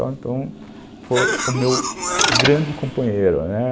Então, foi o meu grande companheiro, né.